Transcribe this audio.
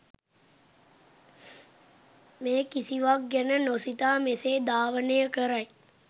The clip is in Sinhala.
මේ කිසිවක් ගැන නොසිතා මෙසේ ධාවනය කරයි.